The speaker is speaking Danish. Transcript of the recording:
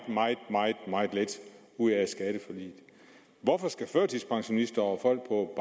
meget lidt ud af skatteforliget hvorfor skal førtidspensionister og folk på